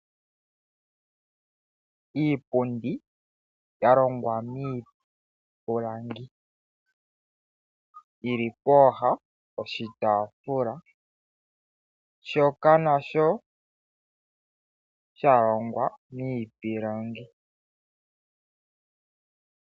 Iipundi yalongwa miipilangi yili pooha dhoshitaafula shoka nasho shalongwa miipilangi.